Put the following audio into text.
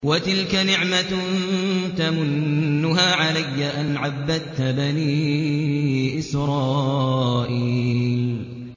وَتِلْكَ نِعْمَةٌ تَمُنُّهَا عَلَيَّ أَنْ عَبَّدتَّ بَنِي إِسْرَائِيلَ